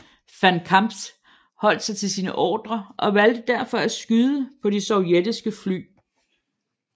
Von Kamptz holdt sig til sine ordrer og valgte derfor at skyde på de sovjetiske fly